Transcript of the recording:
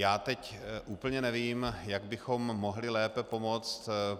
Já teď úplně nevím, jak bychom mohli lépe pomoci.